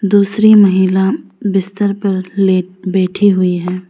दूसरी महिला बिस्तर पर ले बैठी हुई है।